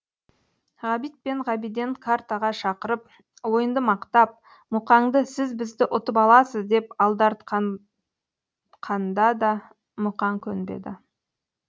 ғабит пен ғабиден картаға шақырып ойынды мақтап мұқаңды сіз бізді ұтып аласыз деп алдартқан да мұқаң көнбеді